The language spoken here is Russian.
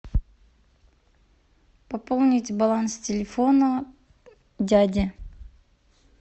пополнить баланс телефона дяди